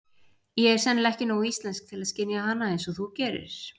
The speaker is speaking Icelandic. Ég er sennilega ekki nógu íslensk til að skynja hana einsog þú gerir.